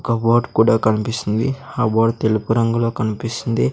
ఒక బోర్డ్ కూడా కన్పిస్తుంది ఆ బోర్డ్ తెలుపు రంగులో కన్పిస్తుంది.